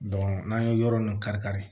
n'an ye yɔrɔ ninnu kari-kari